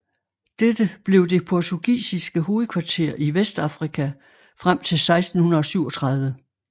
Dette blev det portugisiske hovedkvarter i Vestafrika frem til 1637